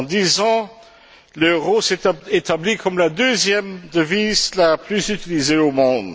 En dix ans, l'euro s'est établi comme la deuxième devise la plus utilisée au monde.